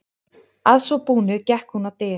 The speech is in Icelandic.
Að svo búnu gekk hún á dyr.